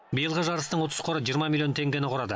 биылғы жарыстың ұтыс қоры жиырма миллион теңгені құрады